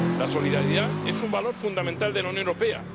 La solidaridad es un valor fundamental de la Unión Europea.